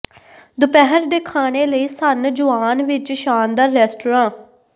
ਦੁਪਹਿਰ ਦੇ ਖਾਣੇ ਲਈ ਸਨ ਜੁਆਨ ਵਿੱਚ ਸ਼ਾਨਦਾਰ ਰੈਸਟਰਾਂ